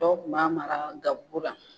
Dɔw tun b'a mara gabugu la